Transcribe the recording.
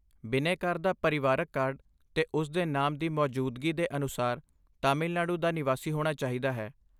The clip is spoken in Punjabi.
ਬਿਨੈਕਾਰ ਦਾ ਪਰਿਵਾਰਕ ਕਾਰਡ 'ਤੇ ਉਸ ਦੇ ਨਾਮ ਦੀ ਮੌਜੂਦਗੀ ਦੇ ਅਨੁਸਾਰ ਤਾਮਿਲਨਾਡੂ ਦਾ ਨਿਵਾਸੀ ਹੋਣਾ ਚਾਹੀਦਾ ਹੈ।